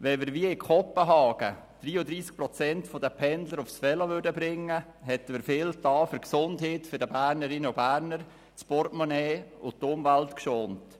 Wenn wir wie in Kopenhagen 34 Prozent der Pendler aufs Velo bringen würden, hätten wir viel für die Gesundheit der Bernerinnen und Berner getan und das Portemonnaie sowie die Umwelt geschont.